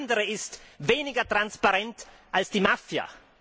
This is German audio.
Alles andere ist weniger transparent als die Mafia.